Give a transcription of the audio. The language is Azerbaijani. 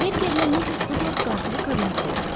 Berkerlə Missis Duqlas qatili kabinetdə yaxalayırlar.